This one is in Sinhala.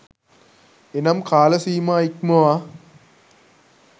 එනම් කාලසීමා ඉක්මවා